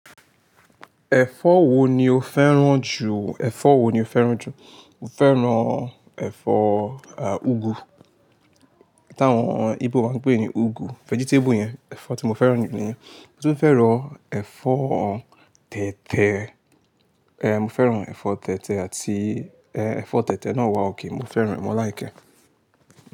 Ẹ̀fọ́ wo ni o fẹ́ràn jù? Ẹ̀fọ́ wo ni o fẹ́ràn jù? Mo fẹ́ràn ẹ̀fọ́, à, úgú. T'àwọn Igbo máa ń pè é ní úgú. Vegetable yẹn, ẹ̀fọ́ tí mo fẹ́ràn jù lọ ní. Mo tún fẹ́ràn ẹ̀fọ́ tètè. Ehn, mo fẹ́ràn ẹ̀fọ́ tètè àti, ehn, ẹ̀fọ́ tètè náà wà ókè. Mo fẹ́ràn rẹ̀ mo lìkẹ́.